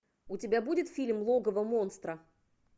у тебя будет фильм логово монстра